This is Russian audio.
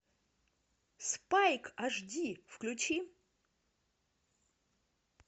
спайк аш ди включи